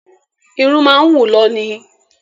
Irun máa ń wù lọ ní